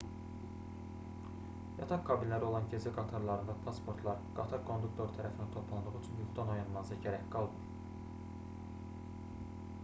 yataq kabinləri olan gecə qatarlarında pasportlar qatar konduktoru tərəfindən toplandığı üçün yuxudan oyanmanıza gərək qalmır